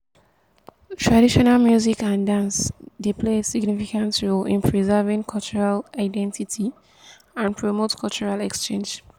traditional music and dance dey play a significant role in preserving cultural identity and promote cultural exchange.